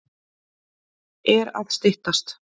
Er að styttast?